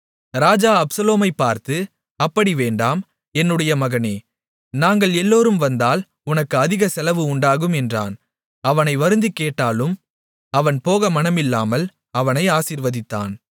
ராஜா அப்சலோமைப் பார்த்து அப்படி வேண்டாம் என்னுடைய மகனே நாங்கள் எல்லோரும் வந்தால் உனக்கு அதிக செலவு உண்டாகும் என்றான் அவனை வருந்திக்கேட்டாலும் அவன் போக மனமில்லாமல் அவனை ஆசீர்வதித்தான்